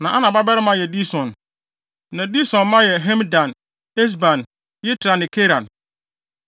Na Ana babarima yɛ Dison. Na Dison mma yɛ Hemdan, Esban, Yitran ne Keran.